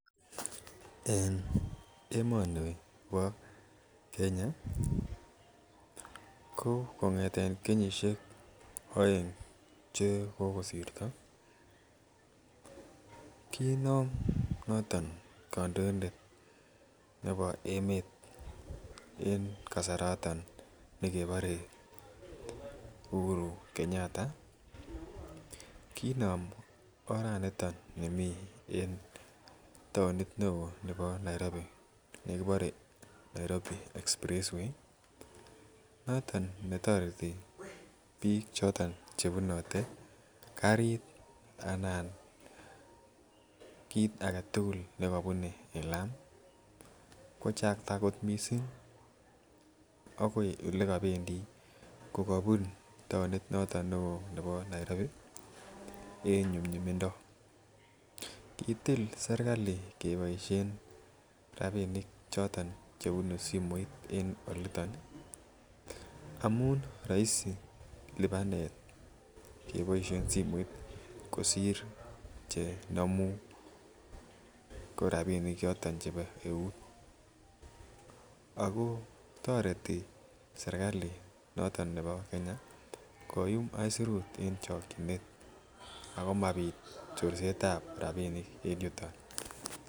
En emoni Kenya ko , kenyisiek aeng che kokosirto, kinam noton kandoindet nebo emet en kasaraton nekebare Uhuru Kenyatta ih kinam oranito nimii taonit neoo nebo Nairobi. Nekibore Nairobi express way ih noton netoreti bik chebune karit anan bik alak tugul nekabune lam. Kochakta kot missing akoi elekabendi kokabunu taonit nebo Nairobi en nyumnyumindo. Kitil serkalit keboisien amuun raisi keboisien simoit kosir chenamu ko rabinik choton chebo eut. Ako toreti serkalit noton nebo Kenya ih koyum aisurut en chakchinet akomabit chorset .